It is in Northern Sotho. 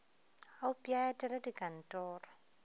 a upše a etele dikantoro